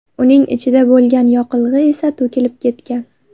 Uning ichida bo‘lgan yoqilg‘i esa to‘kilib ketgan.